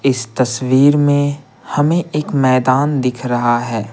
इस तस्वीर में हमें एक मैदान दिख रहा है।